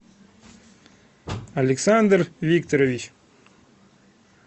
александр викторович